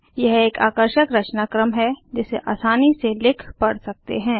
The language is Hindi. यह एक आकर्षक रचनाक्रम है जिसे आसानी से लिख पढ़ सकते हैं